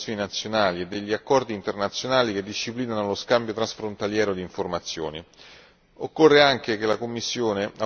Occorre quindi una mappatura delle legislazioni nazionali e degli accordi internazionali che disciplinano lo scambio transfrontaliero di informazioni.